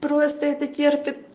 просто это терпит